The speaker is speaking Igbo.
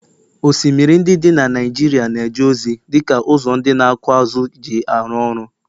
osimiri ndị dị na Naijiria na-eje ozi dị ka ụzọ ndị na-akụ azụ̀ ji arụ ọrụ